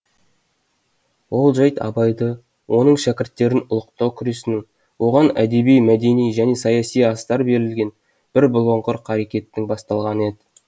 ол жәйт абайды оның шәкірттерін ұлықтау күресінің оған әдеби мәдени және саяси астар берілген бір бұлыңғыр қарекеттің басталғаны еді